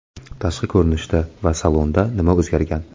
Tashqi ko‘rinishda va salonda nima o‘zgargan?